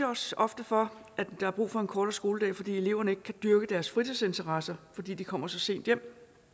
også ofte for at der er brug for en kortere skoledag fordi eleverne ikke kan dyrke deres fritidsinteresser fordi de kommer så sent hjem